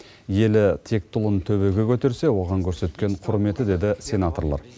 елі текті ұлын төбеге көтерсе оған көрсеткен құрметі деді сенаторлар